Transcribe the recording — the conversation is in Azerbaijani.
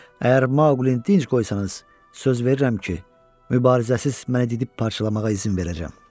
Əgər Maqlini tinc qoysanız, söz verirəm ki, mübarizəsiz məni didib parçalamağa izin verəcəm.